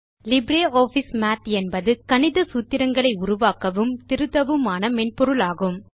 LibreOffice Math என்பது கணித சூத்திரங்களை உருவாக்கவும் திருத்தவுமான மென்பொருளாகும்